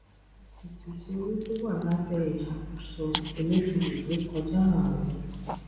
ìpèsè owó tó wà lábẹ ìsàkóso emefiele rékọjá àárún